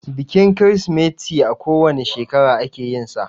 Bikin Kirsimeti a ko wane shekara ake yinsa